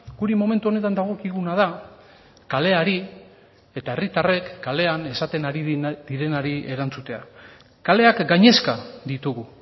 guri momentu honetan dagokiguna da kaleari eta herritarrek kalean esaten ari direnari erantzutea kaleak gainezka ditugu